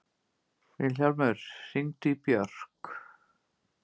Vilhjálmur, hringdu í Börk.